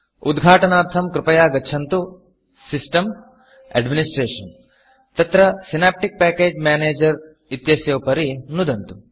उद्घाटनार्थं कृपया गच्छन्तु Systemसिस्टम्gtAdministratorएड्मिनिस्ट्रेटीव् तत्र सिनेप्टिक् पैकेज Managerसिनाप्टिक् पेकेज् मेनेजर् इत्यस्य उपरि नुदन्तु